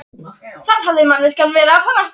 Hvað hafði manneskjan verið að fara?